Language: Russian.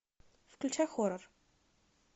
включай хоррор